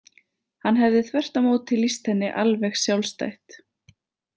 Hann hefði þvert á móti lýst henni alveg sjálfstætt.